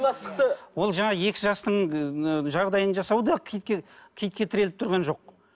ол жаңағы екі жастың жағдайын жасау да киітке киітке тіреліп тұрған жоқ